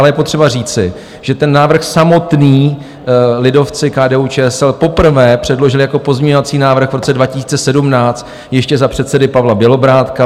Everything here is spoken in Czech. Ale je potřeba říci, že ten návrh samotný, lidovci, KDU-ČSL, poprvé předložili jako pozměňovací návrh v roce 2017 ještě za předsedy Pavla Bělobrádka.